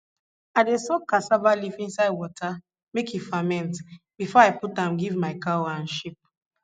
i dey soak cassava leaf inside water make e ferment before i put am give my cow and sheep